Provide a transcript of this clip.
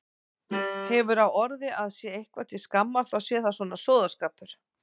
Hefur á orði að sé eitthvað til skammar þá sé það svona sóðaskapur.